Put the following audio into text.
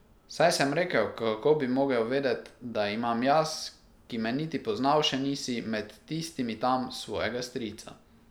Saj, sem rekel, kako bi mogel vedet, da imam jaz, ki me niti poznal še nisi, med tistimi tam svojega strica.